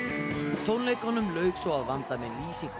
tónleikunum lauk svo að vanda með lýsingu